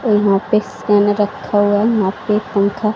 ये यहां पे स्कैनर रखा हुआ है वहां पे एक पंखा--